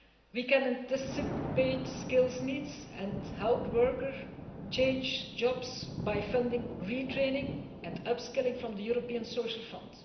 We can anticipate skills needs and help workers change jobs by funding retraining and upskilling from the European Social